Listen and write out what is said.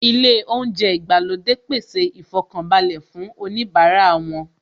Ilé oúnjẹ ìgbàlódé pèsè ìfọkànbalẹ̀ fún oníbara wọn